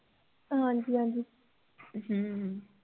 ਹਾਂਜੀ ਹਾਂਜੀ ਹਮ